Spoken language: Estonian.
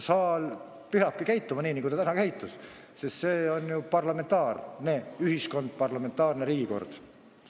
Saal peabki käituma nii, nagu ta täna käitus, sest meil on ju parlamentaarne ühiskond, parlamentaarne riigikord.